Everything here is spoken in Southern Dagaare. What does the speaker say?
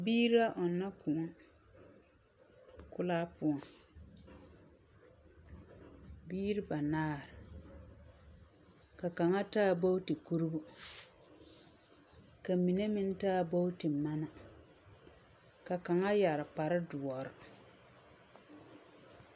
Biiri la ɔnnɔ kõɔ kolaa poɔŋ, biiri banaare. Ka kaŋa taa booti kurobo, ka mine meŋ taa booti mana. Ka kaŋa yare kparedoɔr.